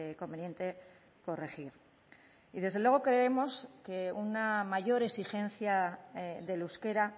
conveniente corregir y desde luego creemos que una mayor exigencia del euskera